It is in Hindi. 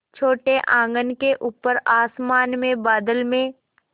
छोटे आँगन के ऊपर आसमान में बादल में